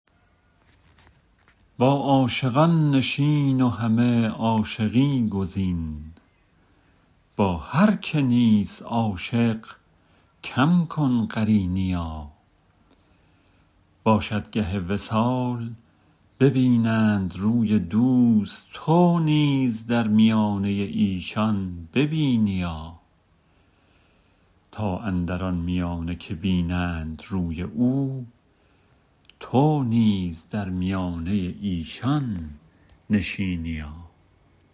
با عاشقان نشین و همه عاشقی گزین با هر که نیست عاشق کم کن قرینیا باشد گه وصال ببینند روی دوست تو نیز در میانه ایشان ببینیا تا اندران میانه که بینند روی او تو نیز در میانه ایشان نشینیا